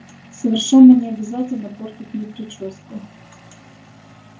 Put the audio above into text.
совершенно не обязательно портить мне причёску